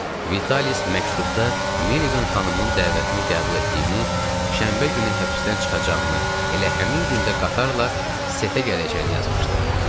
Vitalis məktubda Meliqan xanımın dəvətini qəbul etdiyini, şənbə günü həbsdən çıxacağını, elə həmin gündə qatarla Setə gələcəyini yazmışdı.